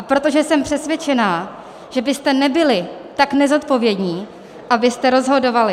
A protože jsem přesvědčená, že byste nebyli tak nezodpovědní, abyste rozhodovali...